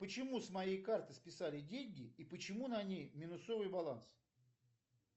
почему с моей карты списали деньги и почему на ней минусовый баланс